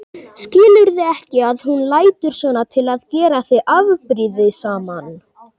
Skilurðu ekki að hún lætur svona til að gera þig afbrýðisaman?